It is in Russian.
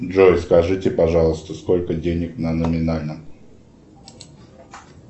джой скажите пожалуйста сколько денег на номинальном